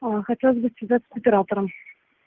хотелось бы связаться с оператором